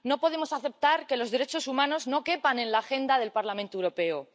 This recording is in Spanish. No podemos aceptar que los derechos humanos no quepan en la agenda del Parlamento Europeo.